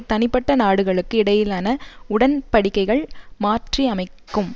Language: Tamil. தனிப்பட்ட நாடுகளுக்கு இடையிலான உடன்படிக்கைகள் மாற்றியமைக்கும்